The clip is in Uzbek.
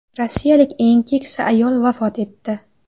Rossiyalik eng keksa ayol vafot etdi.